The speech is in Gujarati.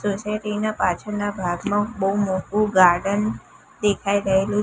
સોસાયટી ના પાછળના ભાગમાં બહુ મોટું ગાર્ડન દેખાઈ રહેલું--